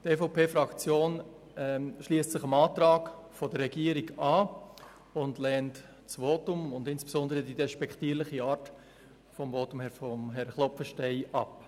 Die EVP-Fraktion schliesst sich dem Antrag der Regierung an und lehnt das Votum und insbesondere die despektierliche Art von Grossrat Klopfensteins Ausführungen ab.